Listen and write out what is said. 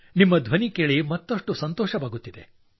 ನಿಮ್ಮ ಧ್ವನಿ ಕೇಳಿ ಮತ್ತಷ್ಟು ಸಂತೋಷವಾಗುತ್ತಿದೆ